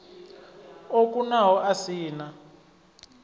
o kunaho a si na